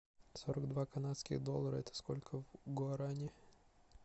сорок два канадских доллара это сколько в гуарани